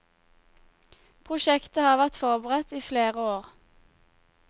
Prosjektet har vært forberedt i flere år.